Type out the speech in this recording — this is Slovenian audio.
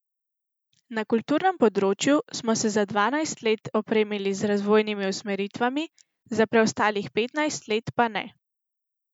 Na kulturnem področju smo se za dvanajst let opremili z razvojnimi usmeritvami, za preostalih petnajst let pa ne.